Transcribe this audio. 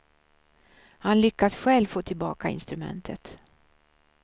Han lyckas själv få tillbaka instrumentet.